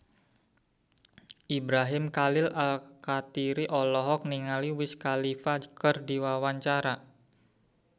Ibrahim Khalil Alkatiri olohok ningali Wiz Khalifa keur diwawancara